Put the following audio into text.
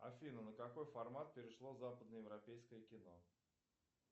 афина на какой формат перешло западноевропейское кино